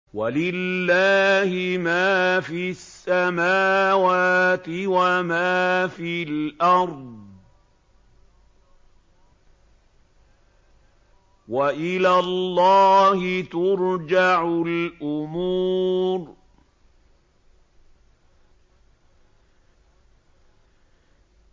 وَلِلَّهِ مَا فِي السَّمَاوَاتِ وَمَا فِي الْأَرْضِ ۚ وَإِلَى اللَّهِ تُرْجَعُ الْأُمُورُ